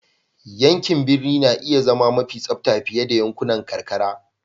Yankin birni na iya zama mafi tsabta fiye da yankunan karkara.